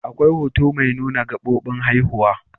Akwai hoto mai nuna gabobin haihuwa.